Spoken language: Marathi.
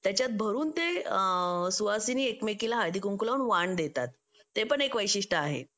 त्याच्यात भरून ते सुवासिनी एकमेकींना हळदी कुंकू ला वाण म्हणून देतात ते पण एक वैशिष्ट्य आहे